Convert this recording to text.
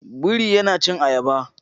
Biri yana cin ayaba